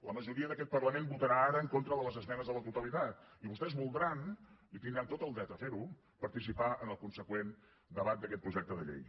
la majoria d’aquest parlament votarà ara en contra de les esmenes a la totalitat i vostès voldran i tindran tot el dret a fer ho participar en el consegüent debat d’aquest projecte de llei